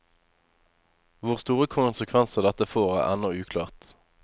Hvor store konsekvenser dette får, er ennå uklart.